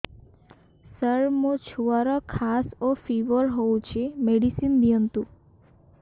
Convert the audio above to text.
ସାର ମୋର ଛୁଆର ଖାସ ଓ ଫିବର ହଉଚି ମେଡିସିନ ଦିଅନ୍ତୁ